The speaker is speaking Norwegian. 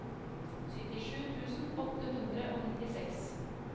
syttisju tusen åtte hundre og nittiseks